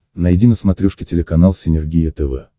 найди на смотрешке телеканал синергия тв